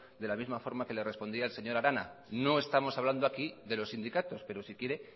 de la misma forma que le respondí al señor arana no estamos hablando aquí de los sindicatos pero si quiere